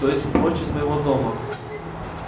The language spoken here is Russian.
то есть прочь из моего дома